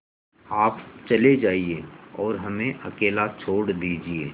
आप चले जाइए और हमें अकेला छोड़ दीजिए